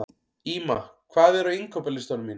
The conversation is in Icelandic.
Ýma, hvað er á innkaupalistanum mínum?